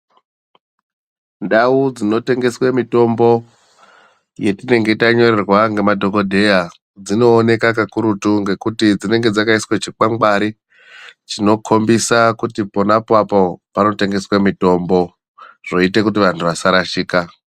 Ndau dzinotengeswe mitombo dzetinenge tanyorerwa ngemadhokodheya dzinooneka kakurutu ngekuti dzinenge dzakaiswa chikwangwari chinokhombisa kuti ponapo apo panotengeswa mitombo zvoita kuti vanthu vasarashika.